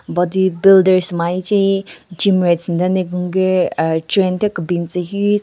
Body builders nmvu yeche gymers den ne gun gü a train thyu kebin tsü hyu.